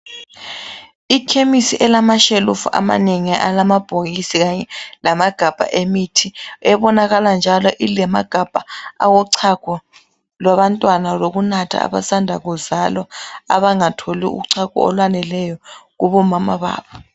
Ikhemisi elamashelufu amanengi, alamabhokisi kanye lamagabha emithi ebonakala njalo ilamagabha awochago lwabantwana lokunatha abasanda kuzalwa, abangatholi uchago olwaneleyo kubo mama babo.